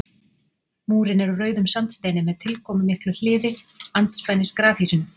múrinn er úr rauðum sandsteini með tilkomumiklu hliði andspænis grafhýsinu